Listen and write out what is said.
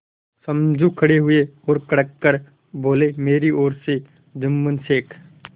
समझू खड़े हुए और कड़क कर बोलेमेरी ओर से जुम्मन शेख